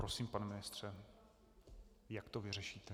Prosím, pane ministře, jak to vyřešíte?